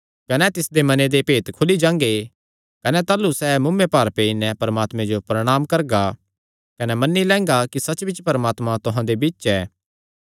कने तिसदे मने दे भेत खुली जांगे कने ताह़लू सैह़ मुँऐ भार पेई नैं परमात्मे जो प्रणांम करगा कने मन्नी लैंगा कि सच्चबिच्च परमात्मा तुहां दे बिच्च ऐ